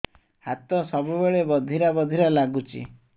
ହାତ ସବୁବେଳେ ବଧିରା ବଧିରା ଲାଗୁଚି